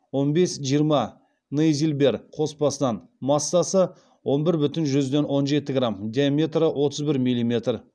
он бес жиырма нейзильбер қоспасынан массасы он бір бүтін жүзден он жеті грамм диаметрі отыз бір миллиметр